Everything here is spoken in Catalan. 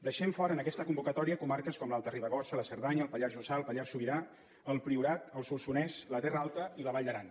deixem fora en aquesta convocatòria comarques com l’alta ribagorça la cerdanya el pallars jussà el pallars sobirà el priorat el solsonès la terra alta i la vall d’aran